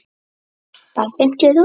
Bara fimmtíu þúsund.